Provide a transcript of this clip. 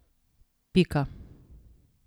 Pika.